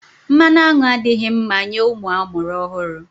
Mmanụ aṅụ adịghị mma nye ụmụ amụrụ ọhụrụ.